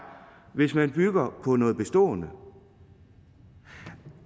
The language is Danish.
hvis man bygger på noget bestående